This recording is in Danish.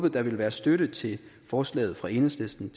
at der ville være støtte til forslaget fra enhedslisten